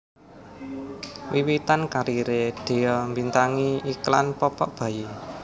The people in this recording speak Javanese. Wiwitan kariré Dhea mbintangi iklan popok bayi